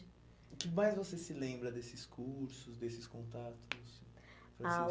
O que mais você se lembra desses cursos, desses contatos? Ah o